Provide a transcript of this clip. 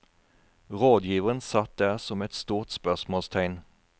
Rådgiveren satt der som et stort spørsmålstegn.